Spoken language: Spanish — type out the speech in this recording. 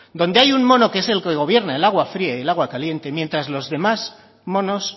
donde hay un mono que es el que gobierna el agua fría y el agua caliente mientras los demás monos